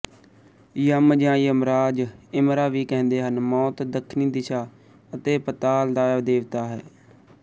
ਯਮ ਜਾਂ ਯਮਰਾਜ ਇਮਰਾ ਵੀ ਕਹਿੰਦੇ ਹਨ ਮੌਤ ਦੱਖਣੀ ਦਿਸ਼ਾ ਅਤੇ ਪਤਾਲ ਦਾ ਦੇਵਤਾ ਹੈ